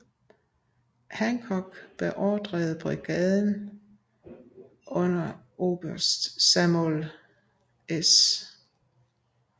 Hancock beordrede brigaden under oberst Samuel S